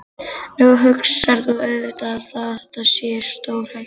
Nú hugsar þú auðvitað að þetta sé stórhættulegt.